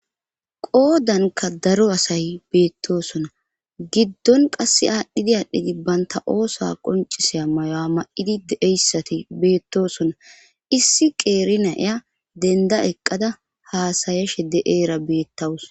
qoodanka daro asay beettoosona giddon qasse aadhdhidi aadhdhidi baynta oosa qonciseya mayo a ma7idi deeyssati beettosona issi qeeri naya denda eqqada haasayashe de7eera beettawus